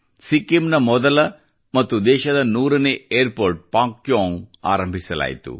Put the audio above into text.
ಸಿಕ್ಕಿಂನ ಮೊದಲ ಮತ್ತು ದೇಶದ 100 ನೇ ಏರ್ಪೋ ರ್ಟ್ ಪಾಕ್ಯೋಂಗ್ ಆರಂಭಿಸಲಾಯಿತು